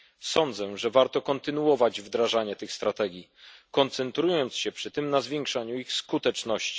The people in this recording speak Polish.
Sądzę, że warto kontynuować wdrażanie tych strategii, koncentrując się przy tym na zwiększaniu ich skuteczności.